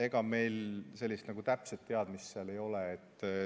Ega meil sellist täpset teadmist ei ole.